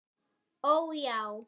Ó já.